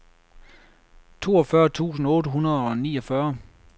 toogfyrre tusind otte hundrede og niogfyrre